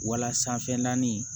Wala sanfɛ naani